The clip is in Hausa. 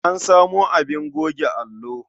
An samo abin goge allo.